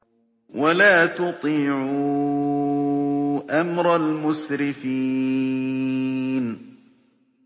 وَلَا تُطِيعُوا أَمْرَ الْمُسْرِفِينَ